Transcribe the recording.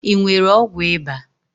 I nwere ọgwụ ịba?